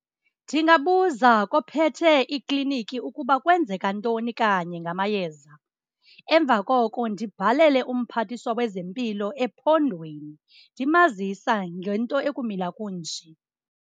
Ndingabuza kophethe ikliniki ukuba kwenzeka ntoni kanye ngamayeza. Emva koko ndibhalele umphathiswa wezempilo ephondweni ndimazisa ngento ekumila kunje.